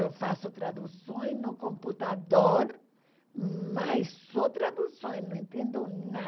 Eu faço tradução no computador, mas só tradução, não entendo nada.